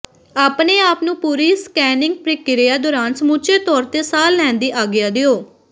ਆਪਣੇ ਆਪ ਨੂੰ ਪੂਰੀ ਸਕੈਨਿੰਗ ਪ੍ਰਕਿਰਿਆ ਦੌਰਾਨ ਸਮੁੱਚੇ ਤੌਰ ਤੇ ਸਾਹ ਲੈਣ ਦੀ ਆਗਿਆ ਦਿਓ